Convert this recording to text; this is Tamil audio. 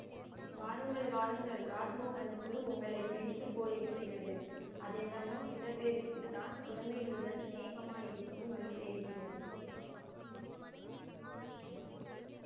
வாருங்கள் வாருங்கள் ராஜ்மோகனுக்கு உங்களை பிடித்து போயிருக்கிறது அதென்னமோ சில பேருக்கு தான் குழந்தைகளுடன் சிநேகமாயிருக்கும் வழி தெரிகிறது